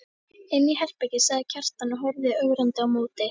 Inni í herbergi, sagði Kjartan og horfði ögrandi á móti.